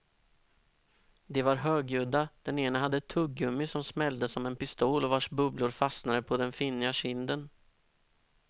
De var högljudda, den ene hade ett tuggummi som smällde som en pistol och vars bubblor fastnade på den finniga kinden.